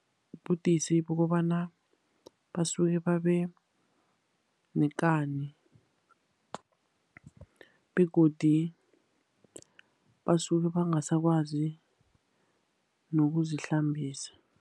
Budisi bokobana basuke babe nekani, begodu basuke bangasakwazi nokuzihlambisa.